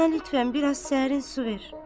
Bana lütfən biraz sərin su ver.